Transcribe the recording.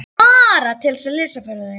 Bara til að lesa fyrir þau.